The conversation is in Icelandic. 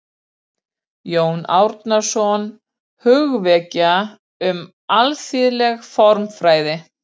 Jörundur, hvaða leikir eru í kvöld?